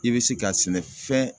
I be se ka sɛnɛfɛn